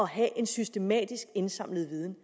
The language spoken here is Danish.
have en systematisk indsamlet viden